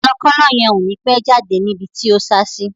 Kọ̀lọ̀kọ̀lọ yẹn ò ni pẹ́ jáde ní ibi tí o sá sí